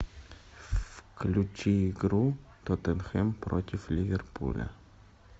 включи игру тоттенхэм против ливерпуля